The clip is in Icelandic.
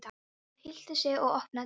Hún hryllti sig og opnaði dyrnar.